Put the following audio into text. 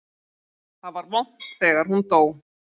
Það var vont þegar hún dó.